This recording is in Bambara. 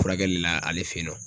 Furakɛli la ale fe yen nɔ.